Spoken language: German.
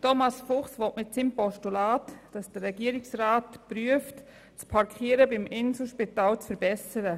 Thomas Fuchs will mit seinem Postulat, dass der Regierungsrat prüft, das Parkieren beim Inselspital zu verbessern.